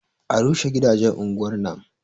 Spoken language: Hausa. A rushe gidajen unguwar nan